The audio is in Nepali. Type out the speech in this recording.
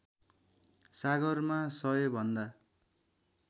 सागरमा १०० भन्दा